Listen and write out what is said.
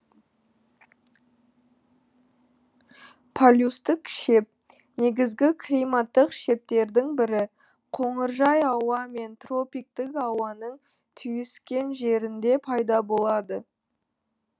полюстік шеп негізгі климаттық шептердің бірі қоңыржай ауа мен тропиктік ауаның түйіскен жерінде пайда болады